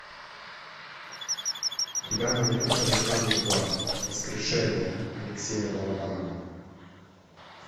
у тебя найдется механик два воскрешение алексея балабанова